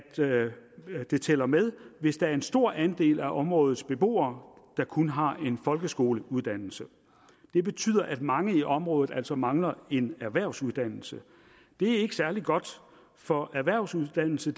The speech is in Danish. det tæller med hvis der er en stor andel af områdets beboere der kun har en folkeskoleuddannelse det betyder at mange i området altså mangler en erhvervsuddannelse det er ikke særlig godt for erhvervsuddannelse